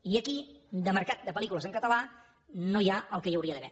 i aquí de mercat de pel·lícules en català no hi ha el que hi hauria d’haver